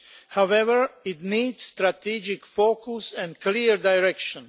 However, it needs strategic focus and clear direction.